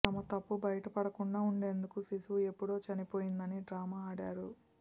తమ తప్పు బయటపడకుండా ఉండేందుకు శిశువు ఎప్పుడో చనిపోయిందని డ్రామా ఆడారు